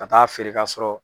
Ka taa feere ka sɔrɔ